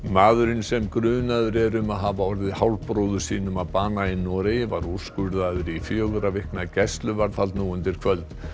maðurinn sem grunaður er um að hafa orðið hálfbróður sínum að bana í Noregi var úrskurðaður í fjögurra vikna gæsluvarðhald nú undir kvöld